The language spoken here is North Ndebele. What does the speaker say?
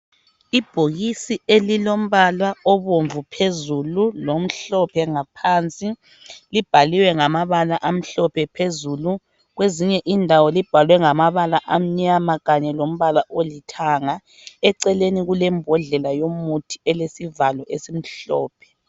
Ibhokisi elilombala obomvu phezulu lombala lomhlophe ngaphansi, libhaliwe ngamabala amhlophe phezulu kwezinye indawo libhalwe ngamabala amnyama kanye lombala olithanga, eceleni kule mbodlela yomuthi elesivalo esimhlophe.